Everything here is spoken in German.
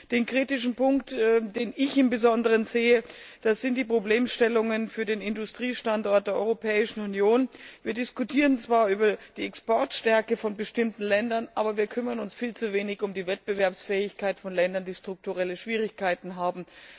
Der kritische Punkt, den ich im Besonderen sehe, das sind die Problemstellungen für den Industriestandort Europäische Union. Wir diskutieren zwar über die Exportstärke von bestimmten Ländern, aber wir kümmern uns viel zu wenig um die Wettbewerbsfähigkeit von Ländern, die strukturelle Schwierigkeiten haben.